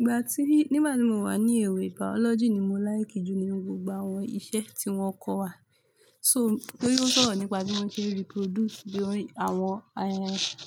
Ìgbà tí, nígbà tí mo wà ní èwe Biology ni mo like jù nínú gbogbo àwọn iṣẹ́ tí wọ́n kọ́ wa. So, torí ó sọ̀rọ̀ nípa bí wọ́n ṣe reproduce, bí àwọn,